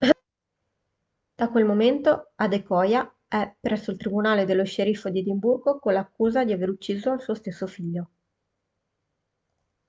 da quel momento adekoya è presso il tribunale dello sceriffo di edimburgo con l'accusa di aver ucciso il suo stesso figlio